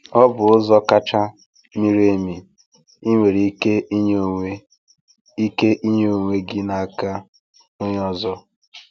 Ọ bụ ụzọ kacha miri emi ị nwere ike inye onwe ike inye onwe gị n’aka onye ọzọ.